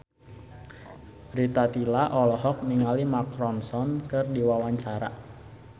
Rita Tila olohok ningali Mark Ronson keur diwawancara